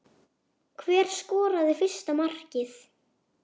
Hver skoraði fyrsta markið?